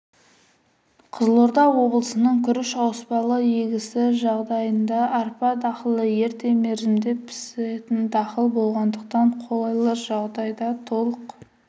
қызылорда облысының күріш ауыспалы егісі жағдайында арпа дақылы ерте мерзімде пісетін дақыл болғандықтан қолайлы жағдайда толық